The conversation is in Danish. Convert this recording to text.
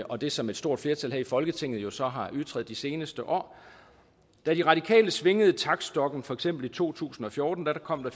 og det som et stort flertal her i folketinget jo så har ytret i de seneste år da de radikale svingede taktstokken for eksempel i to tusind og fjorten kom der